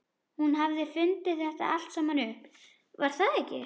Hún hafði fundið þetta allt saman upp, var það ekki?